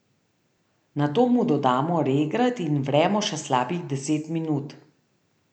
Nato mu dodamo regrat in vremo še slabih deset minut.